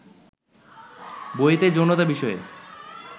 বইতে যৌনতা বিষয়ে